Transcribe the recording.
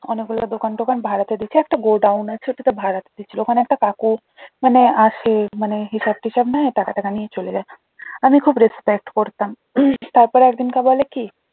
অনেক গুলো দোকান টোকান ভাড়াতে দিছে একটা godown আছে ওটাও ভাড়াতে দিছে ওখানে একটা কাকু মানে আসে মানে হিসাব টিসাব নেয় টাকা ঠাকা নিয়ে চলে যায় আমি খুব respect করতাম তারপর একদিন কাকু বলে কি